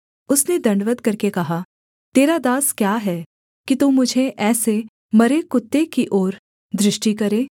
उसने दण्डवत् करके कहा तेरा दास क्या है कि तू मुझे ऐसे मरे कुत्ते की ओर दृष्टि करे